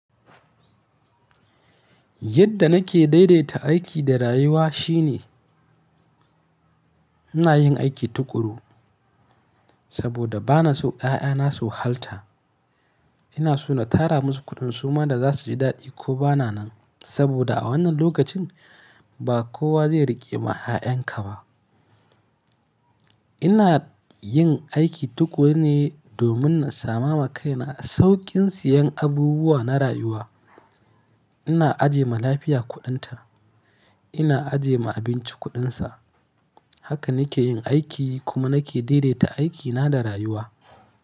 Yadda nake daidaita aiki da rayuwa shine ina yin aiki tuƙuru saboda bana so ƴaƴana su wahalta. Ina so na tara masu kuɗin suma da za su ji daɗi ko bana nan saboda a wannan lokacin ba kowa zai riƙe ma ƴaƴanka ba. Ina yin aiki tuƙuru ne domin na sama ma kaina sauƙin siyan abubuwa na rayuwa. Ina ajiye ma lafiya kuɗinta, ina ajiye ma abinci kuɗinsa. Haka nake yin aiki kuma nake daidaita aikina da rayuwa.